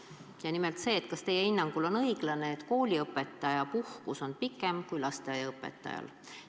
Ja nimelt: kas teie hinnangul on õiglane, et kooliõpetaja puhkus on pikem kui lasteaiaõpetajal?